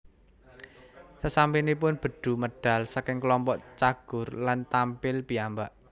Sasampunipun Bedu medal saking klompok Cagur lan tampil piyambak